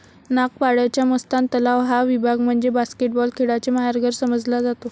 नागपाड्याचा मस्तान तलाव हा विभाग म्हणजे बास्केटबॉल खेळाचे माहेरघर समजला जातो.